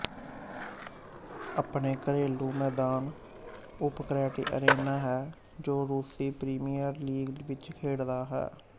ਆਪਣੇ ਘਰੇਲੂ ਮੈਦਾਨ ਓਟਕ੍ਰੈਟੀ ਅਰੇਨਾ ਹੈ ਜੋ ਰੂਸੀ ਪ੍ਰੀਮੀਅਰ ਲੀਗ ਵਿੱਚ ਖੇਡਦਾ ਹੈ